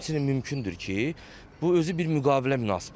Həmçinin mümkündür ki, bu özü bir müqavilə münasibətidir.